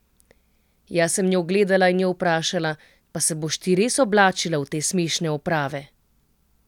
Jaz sem njo gledala in jo vprašala: 'Pa se boš ti res oblačila v te smešne oprave?